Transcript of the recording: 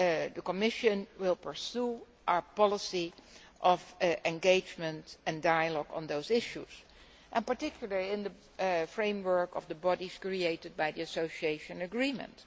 The Commission will pursue our policy of engagement and dialogue on those issues, particularly in the framework of the bodies created by the association agreement.